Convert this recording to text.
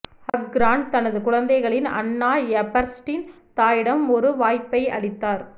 Haq Grant தனது குழந்தைகளின் Anna Eberstein தாயிடம் ஒரு வாய்ப்பை அளித்தார்